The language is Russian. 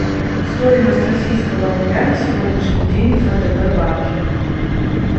стоимость российского рубля на сегодняшний день в втб банке